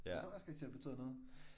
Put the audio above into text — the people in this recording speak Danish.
Der tror jeg også karakterer betyder noget